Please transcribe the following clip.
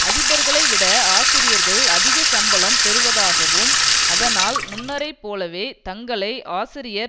அதிபர்களை விட ஆசிரியர்கள் அதிக சம்பளம் பெறுவதாகவும் அதனால் முன்னரைப் போலவே தங்களை ஆசிரியர்